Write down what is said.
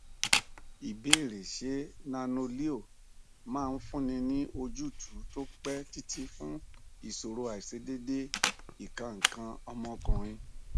ìbéèrè ṣé nanoleo máa fúnni ní ojútùú tó pẹ títí fun ìṣòro aisedede ikan ikan omo okunrin